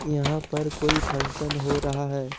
यहां पर कोई फंक्शन हो रहा है।